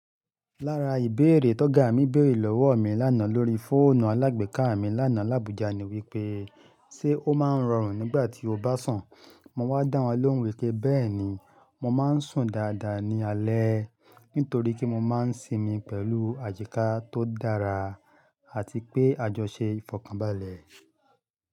Lára ìbéèrè tó ga mi béèrè lọ́wọ́ mi lánàá lórí fóònù alágbèéká mi lánàá lábùjá ni wípé, "ṣé o máa ń rọrùn nígbà tí o bá sun?" Mo wá dá wọn lóhùn wípé, bẹ́ẹ̀ni mo máa ń sùn dáadáa ní alẹ́ nítorí kí mo máa ń sinmi pẹ̀lú àyíkà tó dára àti pé a jọ ṣe ìfọ̀kànbalẹ̀.